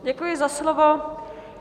Děkuji za slovo.